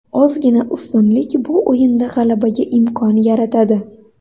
Ozgina ustunlik bu o‘yinda g‘alabaga imkon yaratadi.